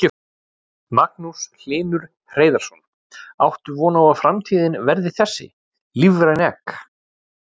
Magnús Hlynur Hreiðarsson: Áttu von á að framtíðin verði þessi, lífræn egg?